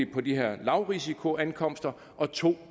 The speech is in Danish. på de her lavrisikoankomster og to